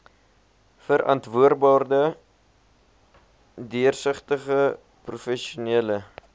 verantwoordbare deursigtige professionele